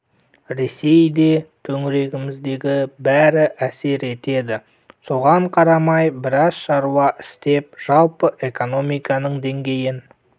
ресей де төңірегіміздегі бәрі әсер етеді соған қарамай біраз шаруа істеп жалпы экономиканың деңгейін